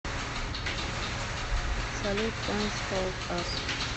салют кэнт холд ас